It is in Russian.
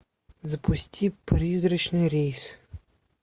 запусти призрачный рейс